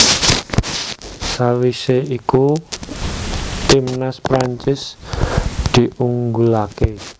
Sawisé iku timnas Prancis diunggulaké